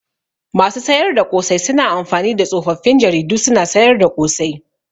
Masu sayar da ƙosai suna amfani da tsofaffin jaridu suna sayar da ƙosai.